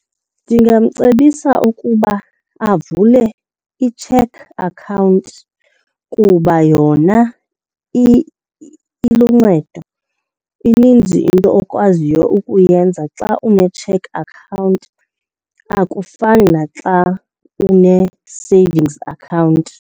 Ndingamcebisa ukuba avule i-cheque account kuba yona iluncedo. Ininzi into okwaziyo ukuyenza xa une-cheque account, akufani naxa une-savings account.